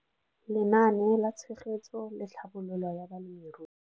Lenaane la Tshegetso le Tlhabololo ya Balemirui.